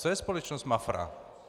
Co je společnost MAFRA?